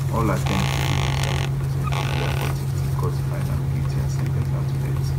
all attempts to prove im son innocence bin dey abortive till court find am guilty and sen ten ce am to death